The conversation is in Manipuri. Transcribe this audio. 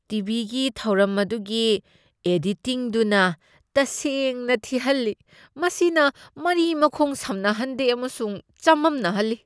ꯇꯤ.ꯚꯤ.ꯒꯤ ꯊꯧꯔꯝ ꯑꯗꯨꯒꯤ ꯑꯦꯗꯤꯇꯤꯡꯗꯨꯅ ꯇꯁꯦꯡꯅ ꯊꯤꯍꯜꯂꯤ ꯫ ꯃꯁꯤꯅ ꯃꯔꯤ ꯃꯈꯣꯡ ꯁꯝꯅꯍꯟꯗꯦ ꯑꯃꯁꯨꯡ ꯆꯃꯝꯅꯍꯜꯂꯤ ꯫